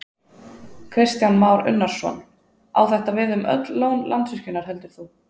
Kristján Már Unnarsson: Á þetta við um öll lón Landsvirkjunar heldur þú?